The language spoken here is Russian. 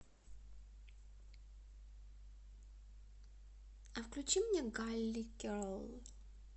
включи мне галли герл